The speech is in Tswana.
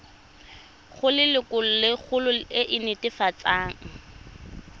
go lelokolegolo e e netefatsang